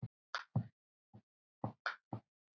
Þvílík upphefð og traust.